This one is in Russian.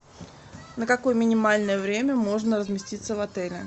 на какое минимальное время можно разместиться в отеле